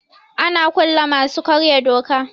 Ana kulle masu karya doka.